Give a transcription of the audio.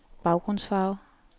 baggrundsfarve